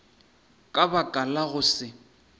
ka baka la go se